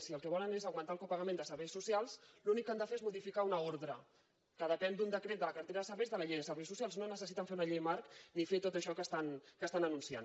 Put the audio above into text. si el que volen és augmentar el copagament de serveis socials l’únic que han de fer és modificar una ordre que depèn d’un decret de la cartera de serveis de la llei de serveis socials no necessiten fer una llei marc ni fer tot això que estan anunciant